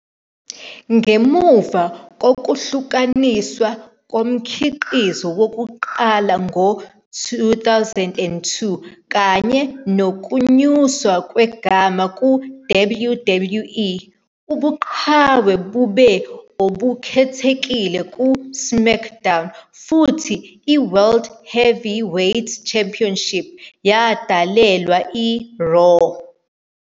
Ngemuva kokuhlukaniswa komkhiqizo wokuqala ngo-2002 kanye nokunyuswa kwegama ku- WWE, ubuqhawe bube obukhethekile ku-SmackDown, futhi i-World Heavyweight Championship yadalelwa i-Raw.